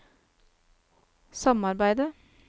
samarbeidet